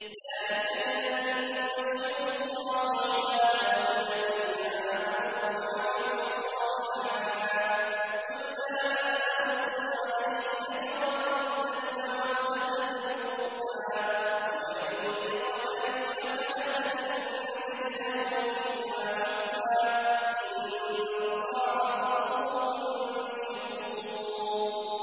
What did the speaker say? ذَٰلِكَ الَّذِي يُبَشِّرُ اللَّهُ عِبَادَهُ الَّذِينَ آمَنُوا وَعَمِلُوا الصَّالِحَاتِ ۗ قُل لَّا أَسْأَلُكُمْ عَلَيْهِ أَجْرًا إِلَّا الْمَوَدَّةَ فِي الْقُرْبَىٰ ۗ وَمَن يَقْتَرِفْ حَسَنَةً نَّزِدْ لَهُ فِيهَا حُسْنًا ۚ إِنَّ اللَّهَ غَفُورٌ شَكُورٌ